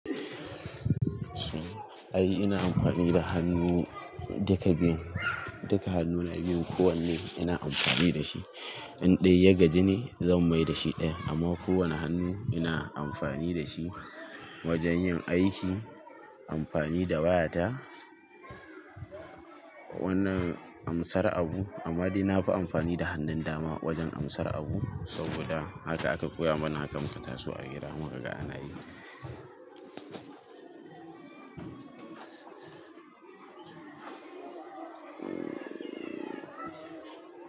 Ai ina amfani da hannu duka biyun. Duka hannuna biyun kowanne ina amfani da shi. In ɗaya ya gaji ne, zan mai da shi ɗaya. Amma kowana hannu ina amfani da shi wajan yin aiki, amfani da wayata. Wannan amsar abu, amma dai nafi amfani da hannun dama wajan amsar abu saboda haka aka koya mana hakan mu tasu a gida. Muka ga ana yi.